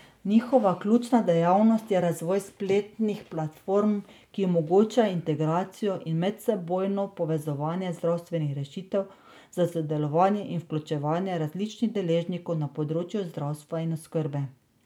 Njihova ključna dejavnost je razvoj spletnih platform, ki omogočajo integracijo in medsebojno povezovanje zdravstvenih rešitev za sodelovanje in vključevanje različnih deležnikov na področju zdravstva in oskrbe.